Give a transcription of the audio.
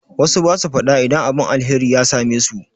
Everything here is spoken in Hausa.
Wassu basu faɗa idan abun alheri ya same su